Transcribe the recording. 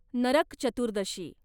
Narak Chaturdashi